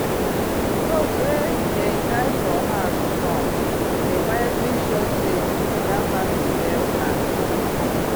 goat wey dem tie for house front dey quietly show say that family get class.